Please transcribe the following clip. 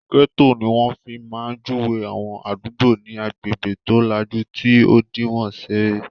Ọ̀rọ́ 'gẹ́tò' ní wọ́n fi máa ń júwe àwọn àdúgbò ní agbègbè tó lajú tí òdiwọ́n ń ṣeré